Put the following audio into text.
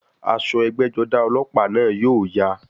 Aṣọ ẹgbẹ́-jọdá ọlọ́pàá náà yóò ya.